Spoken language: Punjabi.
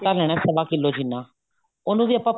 ਆਟਾ ਲੈਣਾ ਸਵਾ ਕਿੱਲੋ ਜਿੰਨਾ ਉਹਨੂੰ ਵੀ ਆਪਾਂ